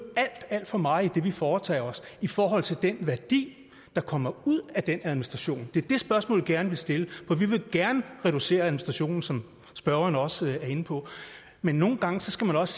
alt alt for meget i det vi foretager os i forhold til den værdi der kommer ud af den administration det er det spørgsmål vi gerne vil stille for vi vil gerne reducere administrationen som spørgeren også er inde på men nogle gange skal man også